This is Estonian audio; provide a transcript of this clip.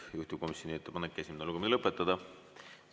Juhtivkomisjoni ettepanek on esimene lugemine lõpetada.